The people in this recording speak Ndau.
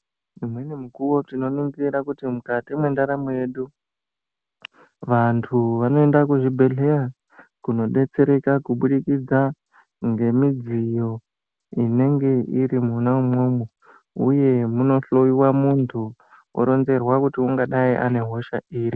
Imweni mikuwo, tinoningira kuti mukati mwendaramo yedu. Vantu vanoende kuzvibhedhleya kunobetsereka, kubudikidza ngemidziyo inenge iri mwona umwomwo, uye munohloiwa muntu oronzerwa kuti angadai ane hosha iri.